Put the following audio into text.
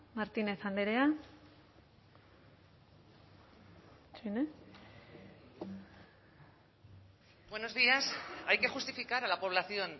martínez andrea buenos días hay que justificar a la población